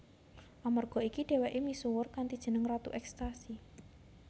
Amerga iki dhèwèké misuwur kanthi jeneng ratu ekstasi